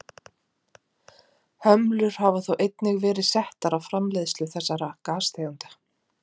hömlur hafa þó einnig verið settar á framleiðslu þessara gastegunda